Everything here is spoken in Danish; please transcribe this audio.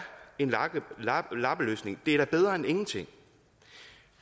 en lappeløsning det er da bedre end ingenting